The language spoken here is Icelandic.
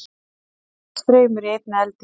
hvað er mikill straumur í einni eldingu